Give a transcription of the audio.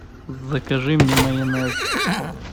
закажи мне майонез